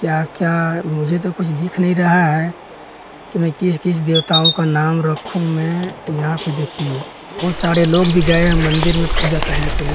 क्या क्या मुझे तो कुछ दिख नहीं रहा है कि मैं किस किस देवताओं का नाम रखूं मैं यहां पे देखिए बहुत सारे लोग भी गए हैं मंदिर में पूजा करने के लिए।